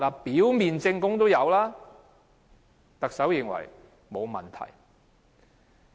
表面證供已經成立，但特首認為沒有問題。